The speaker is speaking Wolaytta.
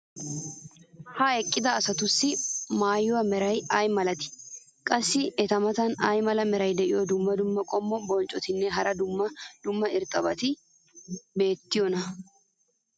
ha eqqida asatussi maayuwa meray ay malatii? qassi eta matan ay mala meray diyo dumma dumma qommo bonccotinne hara dumma dumma irxxabati beetiyoonaa?